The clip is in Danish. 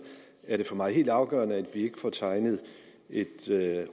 er det for mig helt afgørende at vi ikke får tegnet et